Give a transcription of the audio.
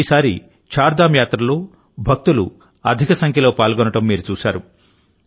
ఈసారి చార్ధామ్ యాత్రలో భక్తులు అధిక సంఖ్యలో పాల్గొనడం మీరు చూశారు